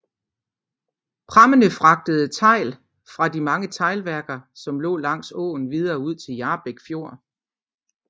Prammene fragtede tegl fra de mange teglværker som lå langs åen og videre ud til Hjarbæk Fjord